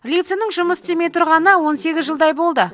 лифтінің жұмыс істемей тұрғанына он сегіз жылдай болды